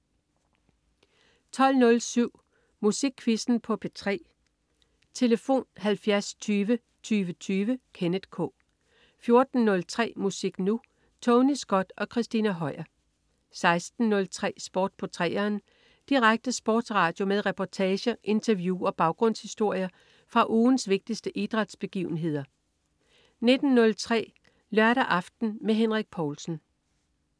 12.07 Musikquizzen på P3. Tlf.: 70 20 20 20. Kenneth K 14.03 Musik Nu! Tony Scott og Christina Høier 16.03 Sport på 3'eren. Direkte sportsradio med reportager, interview og baggrundshistorier fra ugens vigtigste idrætsbegivenheder 19.03 Lørdag aften med Henrik Povlsen